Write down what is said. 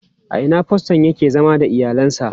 A ina faston yake zama da iyalinsa?